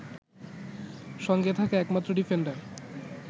সঙ্গে থাকা একমাত্র ডিফেন্ডার